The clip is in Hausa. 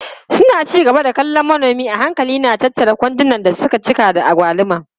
Suna ci gaba da kallon manomi a hankali yana tattara kwandunan da suka cika da agwaluma.